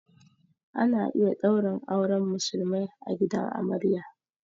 Ana iya ɗaurin auren musulmai a gidan amarya